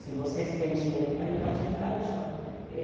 Se vocês têm dinheiro para ir, pode entrar no shopping.